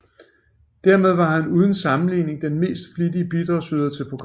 Dermed var han uden sammenligning den mest flittige bidragsyder til programmet